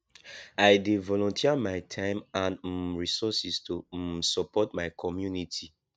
i dey volunteer my time and um resources to um support my community